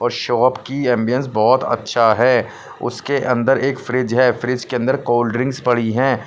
और शॉप की एम_बी_एस बहोत अच्छा है उसके अंदर एक फ्रिज है फ्रिज के अंदर कोल्ड ड्रिंक पड़ी है।